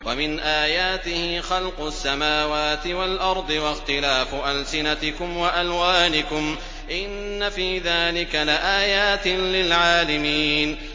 وَمِنْ آيَاتِهِ خَلْقُ السَّمَاوَاتِ وَالْأَرْضِ وَاخْتِلَافُ أَلْسِنَتِكُمْ وَأَلْوَانِكُمْ ۚ إِنَّ فِي ذَٰلِكَ لَآيَاتٍ لِّلْعَالِمِينَ